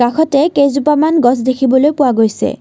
কাষতে কেইজোপামান গছ দেখিবলৈ পোৱা গৈছে।